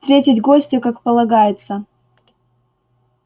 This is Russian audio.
встретить гостя как полагается